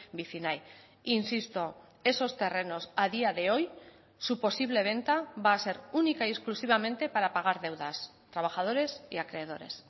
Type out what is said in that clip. vicinay insisto esos terrenos a día de hoy su posible venta va a ser única y exclusivamente para pagar deudas trabajadores y acreedores